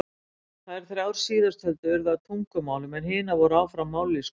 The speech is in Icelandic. Þær þrjár síðasttöldu urðu að tungumálum en hinar voru áfram mállýskur.